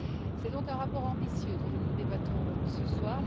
C'est donc un rapport ambitieux dont nous débattons ce soir.